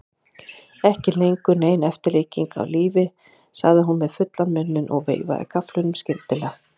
Ekki lengur nein eftirlíking af lífi, sagði hún með fullan munninn og veifaði gafflinum skyndilega.